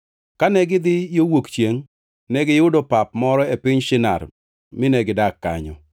Kane gidhi yo wuok chiengʼ, negiyudo pap moro e piny Shinar mine gidak kanyo.